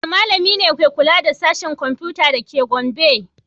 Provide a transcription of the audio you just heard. Wane malami ne ke kula da Sashen Komfuta da ke Gombe?